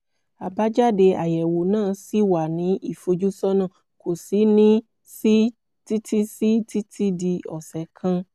àbájáde àyẹ̀wò náà ṣì wà ní ìfojúsọ́nà kò sì ní sí títí sí títí di ọ̀sẹ̀ kan